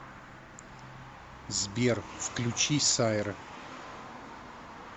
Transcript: сбер включи сайра